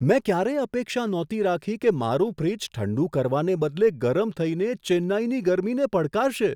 મેં ક્યારેય અપેક્ષા નહોતી રાખી કે મારું ફ્રિજ ઠંડું કરવાને બદલે ગરમ થઈને ચેન્નઈની ગરમીને પડકારશે!